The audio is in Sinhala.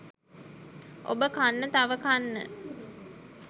ඔබ කන්න තව කන්න